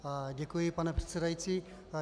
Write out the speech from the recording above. Děkuji, pane předsedající.